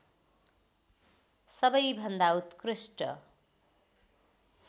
सबैभन्दा उत्कृष्ट